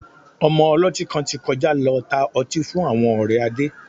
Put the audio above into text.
Ọmọ ọlọ́tí kan ti kọjá lọ tá ọtí fún àwọn ọ̀rẹ́ Adé